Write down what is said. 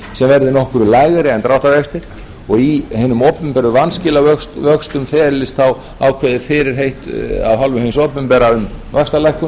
verði nokkru lægri en dráttarvextir og í hinum opinberu vanskilavöxtum felist þá ákveðið fyrirheit af hálfu hins opinbera um vaxtalækkun